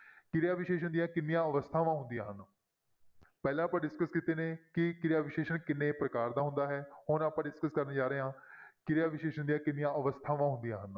ਕਿਰਿਆ ਵਿਸ਼ੇਸ਼ਣ ਦੀਆਂ ਕਿੰਨੀਆਂ ਅਵਸਥਾਵਾਂ ਹੁੰਦੀ ਹਨ ਪਹਿਲਾਂ ਆਪਾਂ discuss ਕੀਤੇ ਨੇ ਕਿ ਕਿਰਿਆ ਵਿਸ਼ੇਸ਼ਣ ਕਿੰਨੇ ਪ੍ਰਕਾਰ ਦਾ ਹੁੰਦਾ ਹੈ ਹੁਣ ਆਪਾਂ discuss ਕਰਨ ਜਾ ਰਹੇ ਹਾਂ ਕਿਰਿਆ ਵਿਸ਼ੇਸ਼ਣ ਦੀਆਂ ਕਿੰਨੀਆਂ ਅਵਸਥਾਵਾਂ ਹੁੰਦੀਆਂ ਹਨ।